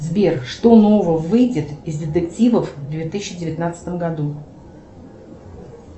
сбер что нового выйдет из детективов в две тысячи девятнадцатом году